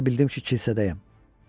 Elə bildim ki, kilsədəyəm.